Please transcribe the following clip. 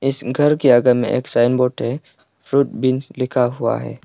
इस घर के आगे में एक साइन बोर्ड है फ्रूट बीन्स लिखा हुआ है।